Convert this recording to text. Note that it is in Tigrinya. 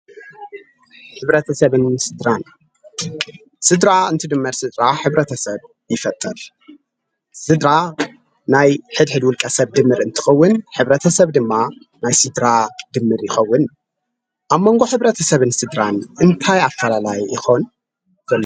ሕብረተሰብን ስድራን፦ ስድራ እንትድመር ስድራ ሕብረተሰብ ይፈጥር፡፡ ስድራ ናይ ሕድ ሕድ ውልቀ ሰብ ድምር እትኸውን ሕ/ሰብ ድማ ናይ ስድራ ድምር ይኸውን፡፡ ኣብ መንጎ ሕብረተሰብ ስድራን እንታይ ኣፈላላይ ይኾን?